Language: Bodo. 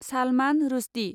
सालमान रुशडि